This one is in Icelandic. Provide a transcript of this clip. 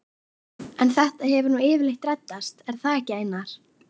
En þetta hefur nú yfirleitt reddast, er það ekki Einar?